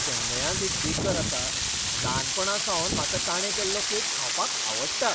चेन्नयांत एक बेकर आसा, ल्हानपणासावन म्हाका ताणें केल्लो केक खावपाक आवडटा.